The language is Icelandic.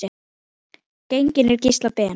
Genginn er Gísli Ben.